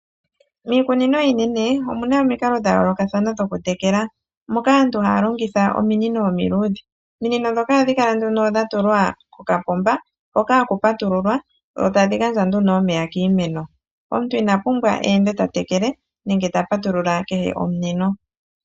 Miikunino iinene omuna omikalo dha yoolokathana dhoku tekela moka aantu haya longitha ominino omiluudhe. Ominino ndhoka ohadhi kala nduno dha tulwa kokapomba hoka haku patululwa, dho tadhi gandja nduno omeya kiimeno. Omuntu ina pumbwa eende ta tekele nenge ta patulula kehe omunino.